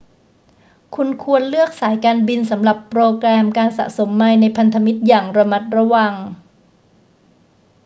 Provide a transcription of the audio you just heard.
คุณควรเลือกสายการบินสำหรับโปรแกรมการสะสมไมล์ในพันธมิตรอย่างระมัดระวัง